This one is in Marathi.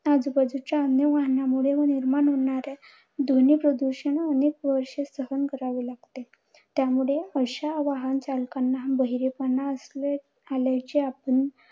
आजूबाजूंच्या अन्य वाहनामुळे व निर्माण होणाऱ्या ध्वनी प्रदूषण अनेक वर्ष सहन करावे लागते. त्यामुळे अशा वाहन चालकाना बहिरेपणा असल्या आल्याचे आपण